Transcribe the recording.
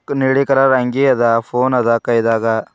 ಕನ್ನಡಿ ಕಲರ್ ಅಂಗಿಯದ ಫೋನದ ಕೈದಾಗ--